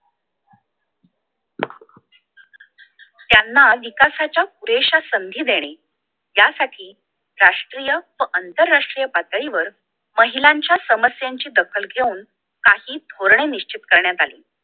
त्यांना विकासाच्या पुरेश्या संधी देणे त्यासाठी राष्ट्रीय व आंतरराष्ट्रीय पातळीवर महिलांच्या समस्यांची दखल घेऊन काही धोरणे निश्चित करण्यात आली